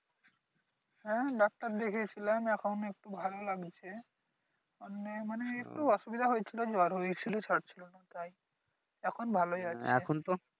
হ্যাঁ ডাক্টার দেখিয়েছিলাম এখন একটু ভালো লাগছে এমনি মানে একটু অসুবিধা হয়েছিলো মানে জ্বর হয়েছিলো সারছিলো না তাই এখন ভালোই আছে